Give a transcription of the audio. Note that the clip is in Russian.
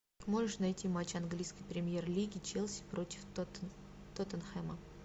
можешь найти матч английской премьер лиги челси против тоттенхэма